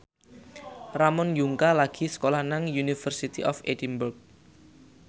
Ramon Yungka lagi sekolah nang University of Edinburgh